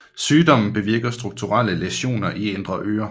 Sygdommen bevirker strukturelle læsioner i indre øre